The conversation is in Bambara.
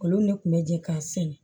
Olu ne kun bɛ jɛ k'a sɛnɛ